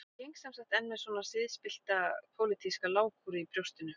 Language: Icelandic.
Ég geng sem sagt enn með svona siðspillta pólitíska lágkúru í brjóstinu